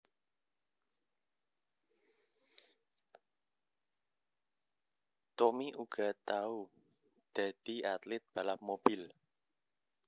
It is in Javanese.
Tommy uga tau dadi atlit balap mobil